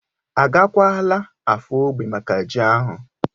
Agakwala Afo ógbè maka ji ahu?